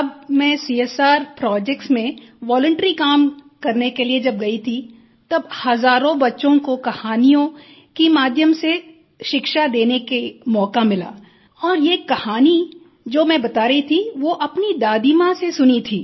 तब मैं CSR projects में वॉलंटरी काम करने के लिए जब गई थी तब हजारों बच्चों को कहानियों के माध्यम से शिक्षा देने का मौका मिला और ये कहानी जो मैं बता रही थी वो अपनी दादी माँ से सुनी थी